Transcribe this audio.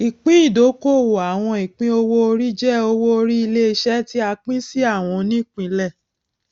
ìpín ìdókòwò àwọn ìpín owó orí jẹ owó orí iléiṣẹ tí a pín sí àwọn onípínlẹ